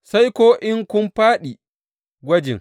Sai ko in kun fāɗi gwajin.